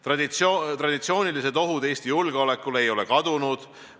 Traditsioonilised ohud Eesti julgeolekule ei ole kadunud.